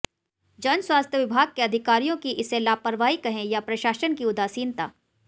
जनस्वास्थ्य विभाग के अधिकारियों की इसे लापरवाही कहें या प्रशासन की उदासीनता